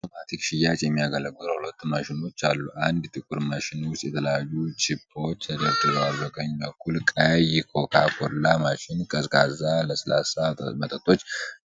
ለአውቶማቲክ ሽያጭ የሚያገለግሉ ሁለት ማሽኖች አሉ። አንድ ጥቁር ማሽን ውስጥ የተለያዩ ቺፖች ተደርድረዋል። በቀኝ በኩል ቀይ ኮካ ኮላ ማሽን ቀዝቃዛ ለስላሳ መጠጦች